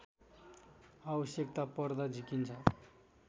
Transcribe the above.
आवश्यकता पर्दा झिकिन्छ